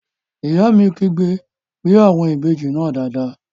Ìyá mi kígbe "gbé àwọn ìbejì náà dáadáa!"